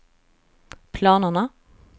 planerna